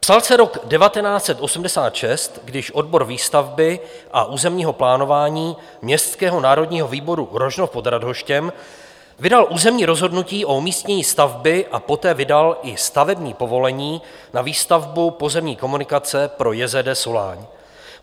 Psal se rok 1986, když odbor výstavby a územního plánování Městského národního výboru Rožnov pod Radhoštěm vydal územní rozhodnutí o umístění stavby a poté vydal i stavební povolení na výstavbu pozemní komunikace pro JZD Soláň.